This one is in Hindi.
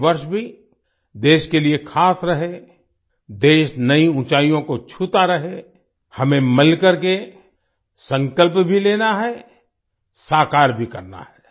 ये वर्ष भी देश के लिए खास रहे देश नई ऊँचाइयों को छूता रहे हमें मिलकर संकल्प भी लेना है साकार भी करना है